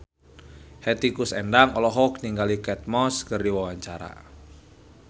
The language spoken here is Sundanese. Hetty Koes Endang olohok ningali Kate Moss keur diwawancara